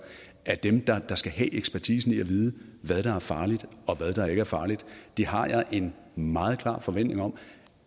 er dem der skal have ekspertisen og vide hvad der er farligt og hvad der ikke er farligt det har jeg en meget klar forventning om